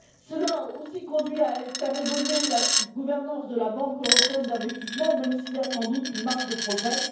Cela a aussi conduit à faire évoluer la gouvernance de la Banque européenne d'investissement, même s'il y a sans doute une marge de progrès.